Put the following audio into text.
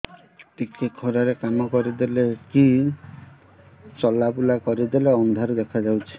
ଟିକେ ଖରା ରେ କାମ କରିଦେଲେ କି ଚଲବୁଲା କରିଦେଲେ ଅନ୍ଧାର ଦେଖା ହଉଚି